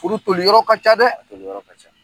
Furu i yɔrɔ ka ca dɛ!